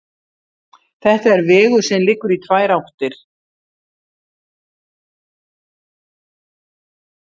Þetta er vegur sem liggur í tvær áttir.